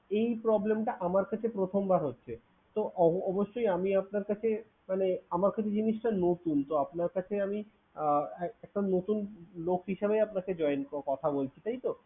এই problem টা আমার ক্ষেত্রে প্রথমবার হচ্ছে। তো অ~ অবশ্যই আমি আপনার কাছে মানে আমার কাছে জিনিসটা নতুন, তো আপনার কাছে আমি আহ একটা নতুন লোক হিসাবে আপনাকে join কথা বলছি তাইতো?